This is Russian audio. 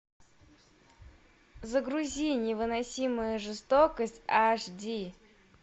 загрузи невыносимая жестокость аш ди